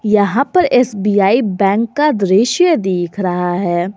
यहां पर SBI bank का दृश्य दिख रहा है।